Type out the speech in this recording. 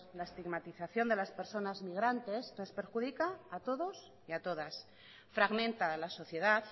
la estigmatización de las personas migrantes nos perjudica a todos y a todas fragmenta a la sociedad